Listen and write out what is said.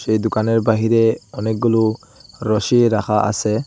সেই দোকানের বাইরে অনেকগুলো রশি রাখা আছে।